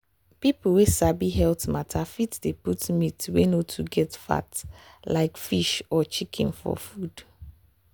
people wey sabi health matter fit dey put meat wey no too get fat like fish or chicken for food.